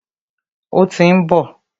Ó tí ń bọ̀.